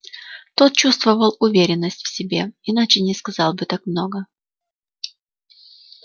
тот чувствовал уверенность в себе иначе не сказал бы так много